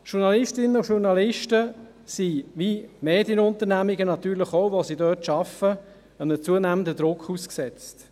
Journalistinnen und Journalisten sind wie Medienunternehmungen, wo sie arbeiten, natürlich auch einem zunehmenden Druck ausgesetzt.